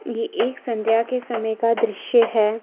ये एक संध्या के समय का दृश्य है।